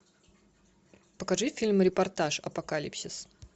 покажи фильм репортаж апокалипсис